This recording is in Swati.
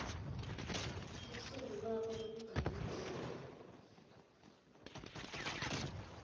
lusuku lwakho lwekubhalisa